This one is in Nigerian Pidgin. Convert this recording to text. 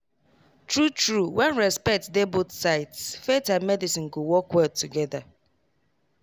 true true when respect dey both sides faith and medicine go work well together.